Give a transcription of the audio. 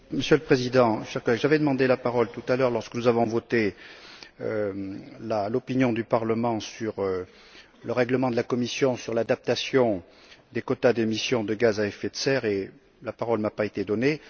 Monsieur le Président, j'avais demandé la parole tout à l'heure lorsque nous avons voté l'avis du Parlement concernant le règlement de la Commission sur l'adaptation des quotas d'émission de gaz à effet de serre et la parole ne m'a pas été donnée.